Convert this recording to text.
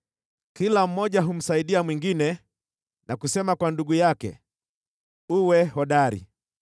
kila mmoja humsaidia mwingine na kusema kwa ndugu yake, “Uwe hodari!”